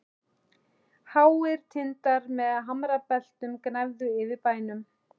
Háir tindar með hamrabeltum gnæfðu yfir bænum.